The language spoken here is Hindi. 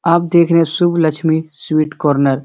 आप देख रहे हैं शुभ लक्ष्मी स्वीट कॉर्नर ।